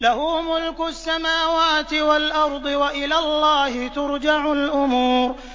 لَّهُ مُلْكُ السَّمَاوَاتِ وَالْأَرْضِ ۚ وَإِلَى اللَّهِ تُرْجَعُ الْأُمُورُ